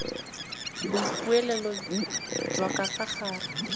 boikuelo jwa ka fa gare